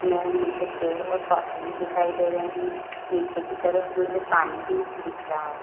में मुझे पेड़ और पौधे भी दिखाई दे रहे है नीचे की तरफ मुझे पानी भी दिख रहा हैं।